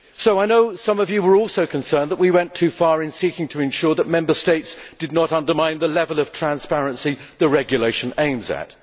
I know some of you were also concerned that we went too far in seeking to ensure that Member States did not undermine the level of transparency the regulation aims at.